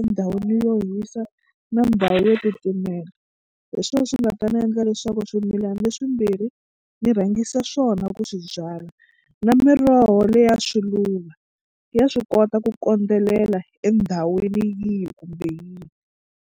endhawini yo hisa na ndhawu yo titimela hi swona swi nga ta ni endla leswaku swimilani leswimbirhi ni rhangisa swona ku swi byala na miroho leya swiluva ya swi kota ku kondzelela endhawini yihi kumbe yihi.